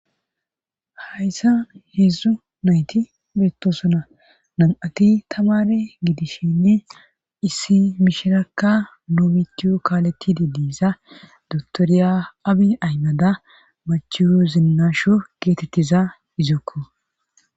hayssa heedzdzu nayti beetosona nam7ati tamare gidishenne issi mishirakka nu mitiyo kaalettide diiza dotoriya abi aymada machiyo zinnasho geetettiza izokko